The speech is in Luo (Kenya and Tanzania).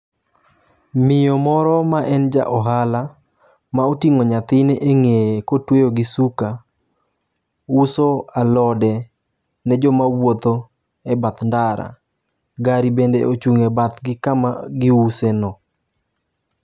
Miyo moro ma en ja ohala ma oting'o nyathine e ng'eye kotweyo gi suka uso alode ne joma wuotho e bath ndara. Gari bende ochung' e bath gi kama giuse no.